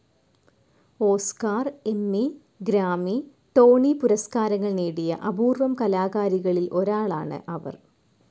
Oscar, Emmy, Grammy. Tony പുരസ്കാരങ്ങൾ നേടിയ അപൂർവം കലാകാരികളിൽ ഒരാളാണ് അവർ.